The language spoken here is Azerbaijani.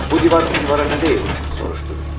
Bu divar o divara nə deyib, soruşdu.